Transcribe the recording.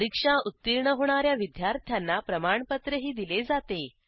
परीक्षा उत्तीर्ण होणा या विद्यार्थ्यांना प्रमाणपत्रही दिले जाते